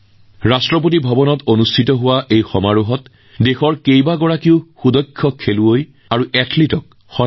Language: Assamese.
ইয়াৰ মাজতে ৰাষ্ট্ৰপতি ভৱনত দেশৰ বহু আশাব্যঞ্জক খেলুৱৈ আৰু ক্ৰীড়াবিদক সম্বৰ্ধনা জনোৱা হৈছে